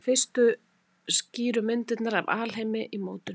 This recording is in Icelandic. Þær voru fyrstu skýru myndirnar af alheimi í mótun.